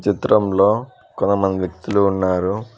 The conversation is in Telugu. ఈ చిత్రంలో కొంతమంది వ్యక్తులు ఉన్నారు.